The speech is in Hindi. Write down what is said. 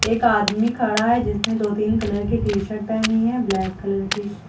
एक आदमी खड़ा है जिसने दो तीन कलर के टी शर्ट पहनी है ब्लैक कलर की।